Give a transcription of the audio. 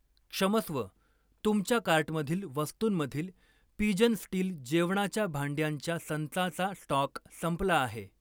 क्षमस्व, तुमच्या कार्टमधील वस्तूंमधील पिजन स्टील जेवणाच्या भांड्यांच्या संचाचा स्टॉक संपला आहे.